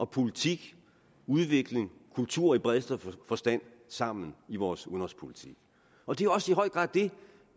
politik udvikling og kultur i bredeste forstand sammen i vores udenrigspolitik og det er også i høj grad det